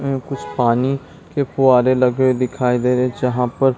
ये कुछ पानी के फुव्वारे लगे हुए दिखाई दे रहे है जहाँ पर--